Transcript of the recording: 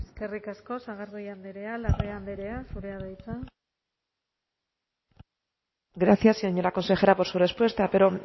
eskerrik asko eskerrik asko sagardui andrea larrea andrea zurea da hitza gracias señora consejera por su respuesta pero